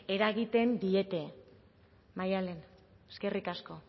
eragiten diete maialen eskerrik asko